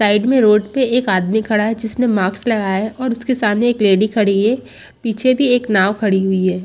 Side में road पे एक आदमी खड़ा है जिसने माक्स लगाया है और उसके सामने एक लेडी खड़ी है पीछे भी एक नाव खड़ी हुई है।